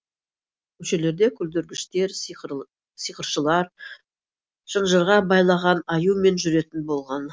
көшелерде күлдіргіштер сиқыршылар шынжырға байлаған аюмен жүретін болған